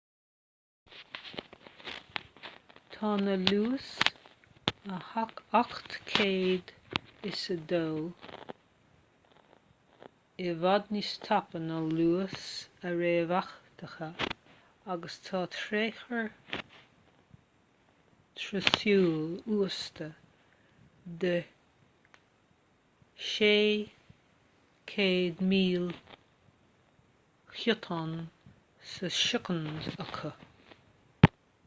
tá na luais 802.11n i bhfad níos tapa ná luais a réamhtheachtaithe agus tá tréchur teoiriciúil uasta de600m ghiotán sa soicind acu